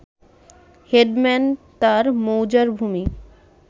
headman তার মৌজার ভূমি